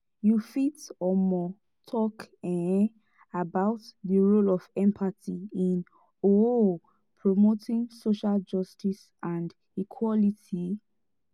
you fit um talk um about di role of empathy in um promoting social justice and equality?